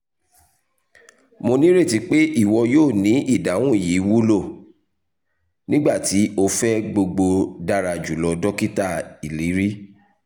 mo nireti pe iwọ yoo rii idahun yii wulo!nigbati o fẹ gbogbo dara julọ dokita iliri